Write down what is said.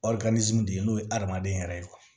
de ye n'o ye adamaden yɛrɛ ye